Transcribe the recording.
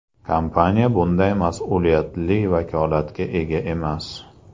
Kompaniya bunday mas’uliyatli vakolatga ega emas.